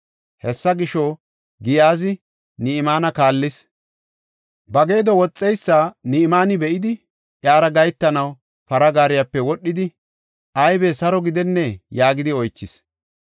Hessa gisho, Giyaazi Ni7imaane kaallis. Ba geedo woxiya Ni7imaane be7idi, iyara gahetanaw para gaariyape wodhidi, “Aybe, saro gidennee?” yaagidi oychis.